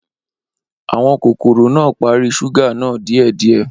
Awọn kokoro naa pari ṣuga naa diẹ diẹ